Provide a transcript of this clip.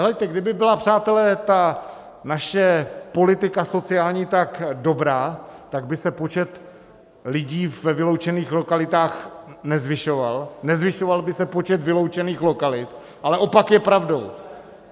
Heleďte, kdyby byla, přátelé, ta naše politika sociální tak dobrá, tak by se počet lidí ve vyloučených lokalitách nezvyšoval, nezvyšoval by se počet vyloučených lokalit, ale opak je pravdou.